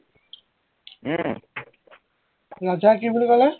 উম ৰাজাই কি বুলি কলে